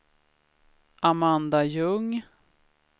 Amanda Ljung